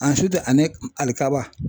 ani alikaba.